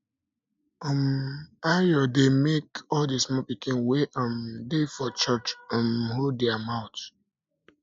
um ayo dey make all the small pikin wey um dey for church um hold their mouth